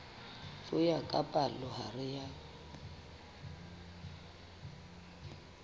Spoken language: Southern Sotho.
ho ya ka palohare ya